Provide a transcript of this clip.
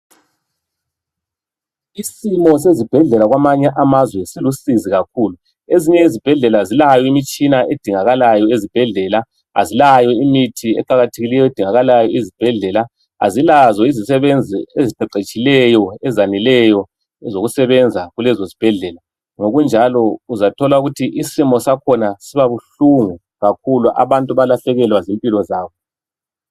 Isimo sezibhedlela zamanye amazwe silusizi kakhulu ezinye izibhedlela zilayo imitshina edingakalayo ezibhedlela azilayo imithi eqakathekileyo edingakala esibhedlela azilazo izisebenzi eziqeqetshileyo ezaneleyo zokusebenza kulezi zibhedlela ngokunjalo uzathola ukuthi isimo sakhona uza tjola kubuhlungu kakhulu abantu belahlekelwe zimpilo zabo